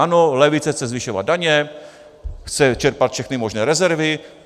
Ano, levice chce zvyšovat daně, chce čerpat všechny možné rezervy.